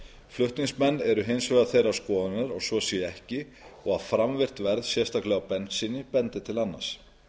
flutningsmenn eru hins vegar þeirrar skoðunar að svo sé ekki og að framvirkt verð sérstaklega á bensíni bendi til annars